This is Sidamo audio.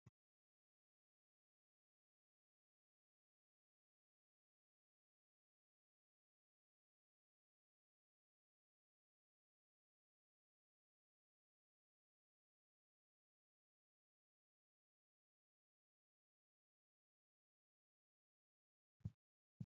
SIdaamu dagara noonke ytanohu jawu tuqu xaadii kini albisancho ikkanna yanna yannatenni qinaado odoo dagate maccara iillittano gede assine odeessa hasiisano dagano hakko garinni agadhittano.